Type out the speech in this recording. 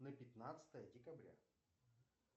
на пятнадцатое декабря